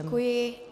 Děkuji.